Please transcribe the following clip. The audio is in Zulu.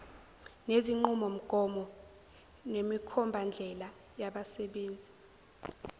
nezinqubomgomo nemikhombandlela yezabasebenzi